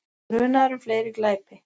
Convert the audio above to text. Grunaður um fleiri glæpi